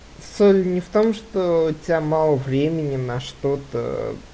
суть не в том что у тебя мало времени на что-то